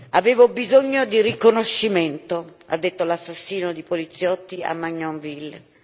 Avevo bisogno di riconoscimento ha detto l'assassino dei poliziotti a Magnanville.